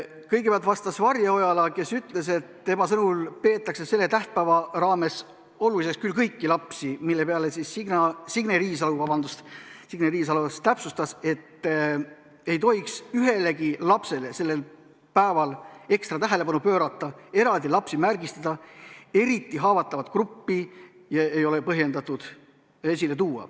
Kõigepealt vastas Varje Ojala, kes ütles, et tema sõnul peetakse selle tähtpäeva raames oluliseks küll kõiki lapsi, mille peale Signe Riisalo täpsustas, et ei tohiks ühelegi lapsele sellel päeval ekstra tähelepanu pöörata, eraldi lapsi märgistada, eriti haavatavaid gruppe ei ole põhjendatud esile tuua.